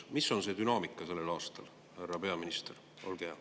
Mis on see dünaamika sellel aastal, härra peaminister?